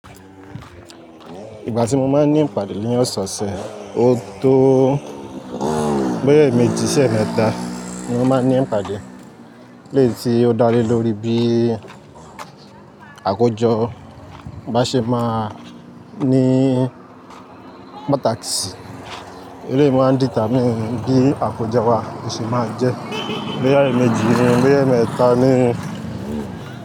Ìgbà tí mo máa ń ní ìpàdé ní ọ̀sọ̀ọ̀sẹ̀, ó tó bóyá eeméjì ṣi eemẹ́ta ni mo máa ń ní ìpàdé. Leyi tí ó dálé lórí bí àkójọ bá ṣe máa ní more taxi, eléyi máa ń determine bí àkójọ wà, bó ṣe máa jẹ. Bóyá eeméjì bóyá eemẹ́ta ni.